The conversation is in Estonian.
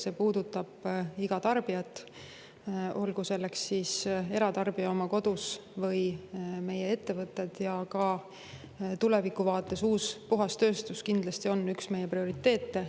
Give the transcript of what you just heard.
See puudutab iga tarbijat, olgu selleks siis eratarbija oma kodus või meie ettevõtted, ja ka tulevikuvaates uus, puhas tööstus kindlasti on üks meie prioriteete.